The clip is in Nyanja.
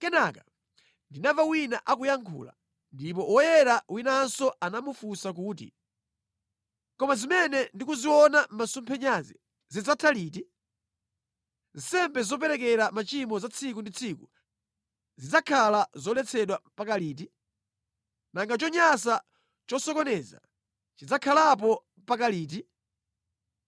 Kenaka ndinamva wina akuyankhula; ndipo woyera winanso anamufunsa kuti, “Kodi zimene ndikuziona mʼmasomphenyazi zidzatha liti? Nsembe zoperekera machimo za tsiku ndi tsiku zidzakhala zoletsedwa mpaka liti? Nanga chonyansa chosokoneza chidzakhalapo mpaka liti?